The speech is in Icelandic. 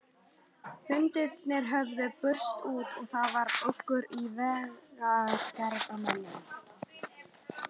Fundirnir höfðu spurst út og það var uggur í vegagerðarmönnum.